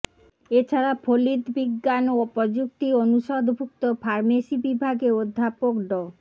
এ ছাড়া ফলিত বিজ্ঞান ও প্রযুক্তি অনুষদভুক্ত ফার্মেসি বিভাগে অধ্যাপক ড